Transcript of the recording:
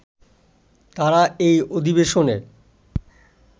তাঁরা এই অধিবেশনে